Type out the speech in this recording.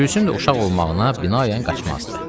Gülsüm də uşaq olmağına binaən qaçmazdı.